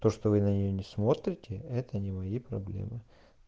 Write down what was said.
то что вы на нее не смотрите это не мои проблемы